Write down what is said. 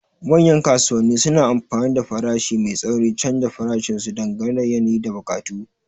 Manyan kasuwanni suna amfani da farashi mai tsauri, canza farashin su dangane da yanayi da buƙatu.